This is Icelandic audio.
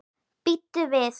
Bíddu við.